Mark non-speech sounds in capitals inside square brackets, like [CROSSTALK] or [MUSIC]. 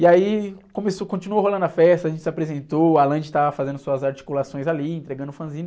E aí começou, continuou rolando a festa, a gente se apresentou, a [UNINTELLIGIBLE] estava fazendo suas articulações ali, entregando o fanzine.